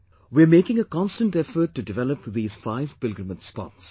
We are making a constant effort to develop these five pilgrimage spots